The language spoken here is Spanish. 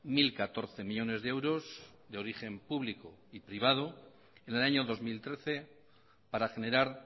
mil catorce millónes de euros de origen público y privado en el año dos mil trece para generar